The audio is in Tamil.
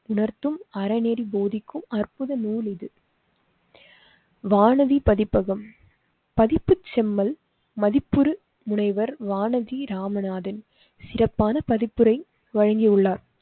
உணர்த்தும் அறநெறி போதிக்கும் அற்புத நூல் இது. வானதி பதிப்பகம் பதிப்பு செம்மல் மதிப்புறு முனைவர் வானதி ராமநாதன் சிறப்பான பதிப்புரை வழங்கி உள்ளார்.